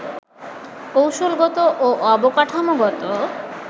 কৌশলগত ও অবকাঠামোগত